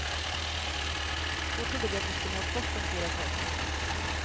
Då trodde vi att vi skulle ha gott om tid att ta oss hem.